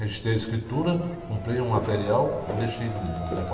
Registrei a escritura, comprei um material e deixei num, num